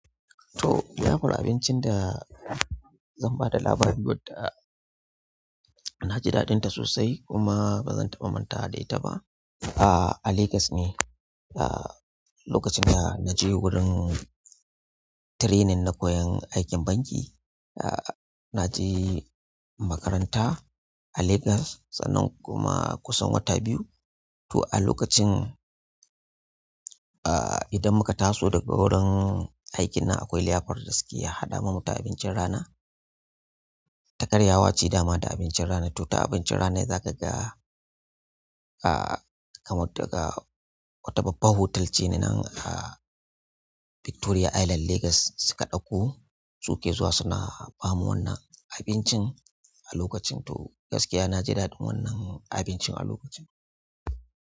To liyafar abincin da zan ba da labari yadda, na ji daɗinta sosai kuma ba zan taɓa manta da ita ba. A, a Lagos ne. A, lokacin da na je wurin training na koyan aikin banki, a, na je makaranta. A, Lagos sannan kuma kusan wata biyu to a lokacin, a, idan muka ta so daga wurin aiki nan akwai liyafar da suke haɗa mana da abincin rana. Takaryawa ce dama da abincin rana. To ta abincin rana ne za ka ga, a, kamar daga wata babba hotel ce na nan a Victoria Island, Lagos suka ɗauko su ke zuwa suna ba mu wannan abincin a lokacin. To gaskiya na ji daɗin wannan abincin a lokacin.